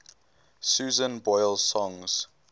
susan boyle songs